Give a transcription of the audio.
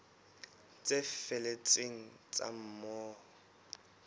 tse felletseng tsa moo ho